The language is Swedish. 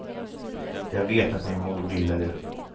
Jag vet att min mor ville det.